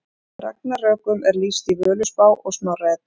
Ragnarökum er lýst í Völuspá og Snorra Eddu.